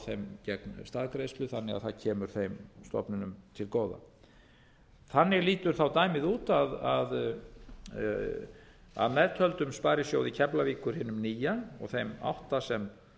þeim gegn staðgreiðslu þannig að það kemur þeim stofnunum til góða þannig lítur dæmið út að meðtöldum sparisjóði keflavíkur hinum nýja og þeim átta sem